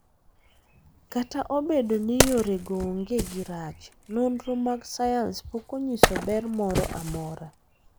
Kata obedo ni yorego onge gi rach, nonro mag sayans pok onyiso ber moro amora.